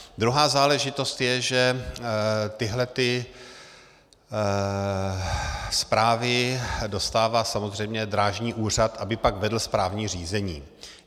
Druhá záležitost je, že tyhlety zprávy dostává samozřejmě Drážní úřad, aby pak vedl správní řízení.